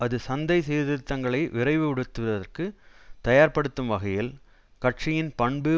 அது சந்தை சீர்திருத்தங்களை விரைவுபடுத்துவதற்கு தயார்ப்படுத்தும் வகையில் கட்சியின் பண்பு